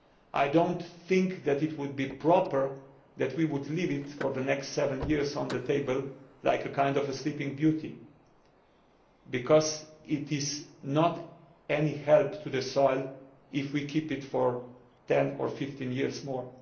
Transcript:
I do not think that it would be proper for us to leave it for the next seven years on the table like a kind of a Sleeping Beauty, because it is not of any help to the soil if we keep it for ten or fifteen years more.